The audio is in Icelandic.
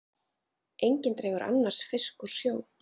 Enginn dregur annars fisk úr sjó.